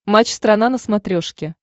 матч страна на смотрешке